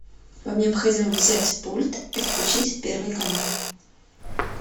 вам необходимо взять пульт и включить первый канал